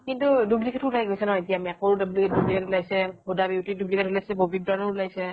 কিন্তু duplicate ওলাই গৈছে ন mac ৰো duplicate ওলাইছে, huda beauty ৰ duplicate ওলাইছে, bobby brand ৰ ওলাইছে